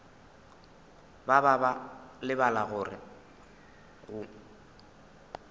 ba ba ba lebala go